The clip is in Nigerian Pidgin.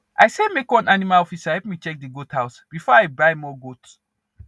i say make one animal officer help me check the goat house before i buy more goat